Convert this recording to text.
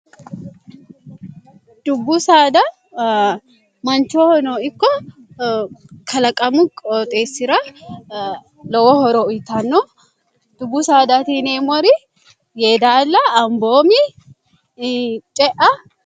dubbu saada manchoono ikko kalaqamu qooxeessi'ra lowo horo uyitanno dubbu saadatiine mori yee daalla amboomi ce'a